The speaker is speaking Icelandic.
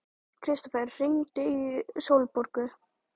Kristófer, hringdu í Sólborgu.